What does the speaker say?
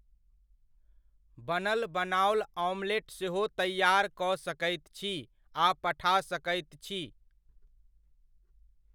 बनल बनाओल ऑमलेट सेहो तैआर कऽ सकैत छी आ पठा सकैत छी।